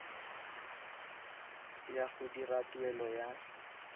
ya go dira tuelo ya